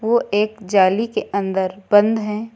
ओ एक जाली के अंदर बंद हैं।